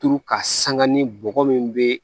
Turu ka sanga ni bɔgɔ min bɛ